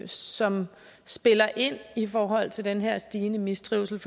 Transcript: som spiller ind i forhold til den her stigende mistrivsel